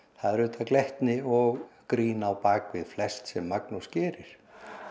það er auðvitað glettni og grín bakvið flest sem Magnús gerir